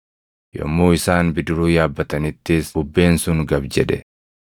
Yommuu isaan bidiruu yaabbatanittis bubbeen sun gab jedhe.